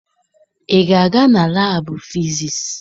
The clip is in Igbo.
Ị ga-aga na laabụ fisiisi?